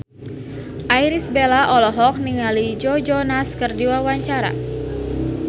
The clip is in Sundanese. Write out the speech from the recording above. Irish Bella olohok ningali Joe Jonas keur diwawancara